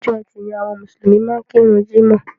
Ọjọ́ etì ni àwọn mùsùlùmí máa ń kíru jímọ̀.